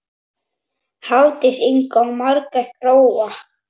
Hafdís Inga og Margrét Gróa.